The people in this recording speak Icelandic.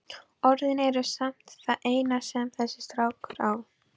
Orðin eru samt það eina sem þessi strákur á.